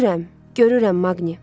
Görürəm, görürəm Maqni.